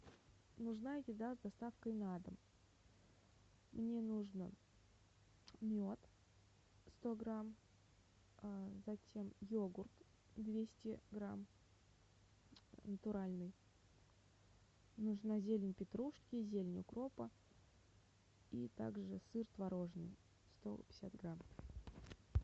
нужна еда с доставкой на дом мне нужно мед сто грамм затем йогурт двести грамм натуральный нужна зелень петрушки зелень укропа и также сыр творожный сто пятьдесят грамм